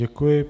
Děkuji.